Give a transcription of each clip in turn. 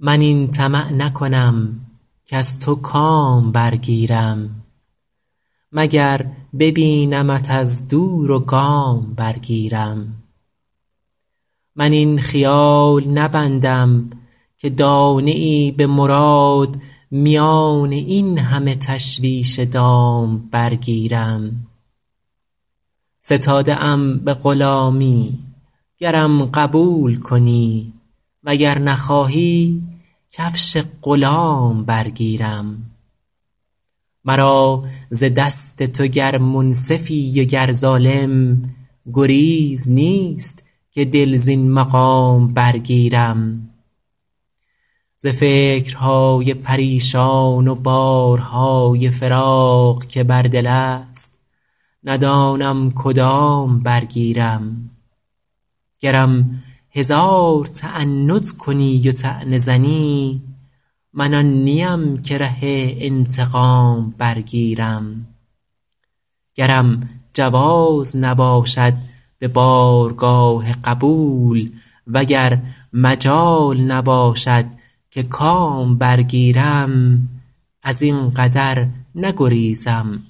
من این طمع نکنم کز تو کام برگیرم مگر ببینمت از دور و گام برگیرم من این خیال نبندم که دانه ای به مراد میان این همه تشویش دام برگیرم ستاده ام به غلامی گرم قبول کنی و گر نخواهی کفش غلام برگیرم مرا ز دست تو گر منصفی و گر ظالم گریز نیست که دل زین مقام برگیرم ز فکرهای پریشان و بارهای فراق که بر دل است ندانم کدام برگیرم گرم هزار تعنت کنی و طعنه زنی من آن نیم که ره انتقام برگیرم گرم جواز نباشد به بارگاه قبول و گر مجال نباشد که کام برگیرم از این قدر نگریزم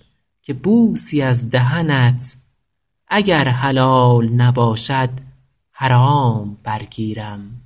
که بوسی از دهنت اگر حلال نباشد حرام برگیرم